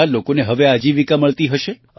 કેટલા લોકોને હવે આજીવિકા મળતી હશે